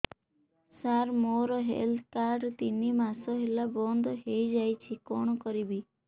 ସାର ମୋର health card ତିନି ମାସ ହେଲା ବନ୍ଦ ହେଇଯାଇଛି କଣ କରିବି